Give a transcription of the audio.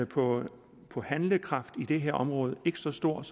på handlekraft på det her område ikke så stor